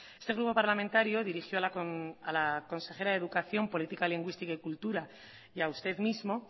este grupo parlamentario dirigió a la consejera de educación política lingüística y cultura y a usted mismo